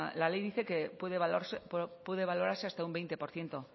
la ley dice que puede valorarse hasta un veinte por ciento